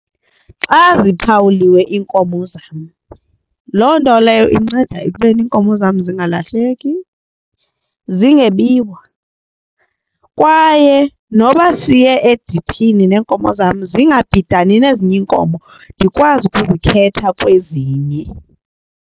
Xa ziphawuliwe iinkomo zam, loo nto leyo inceda ekubeni iinkomo zam zingalahleki, zingebiwa kwaye noba siye ediphini neenkomo zam zingabhidani nezinye iinkomo ndikwazi ukuzikhetha kwezinye.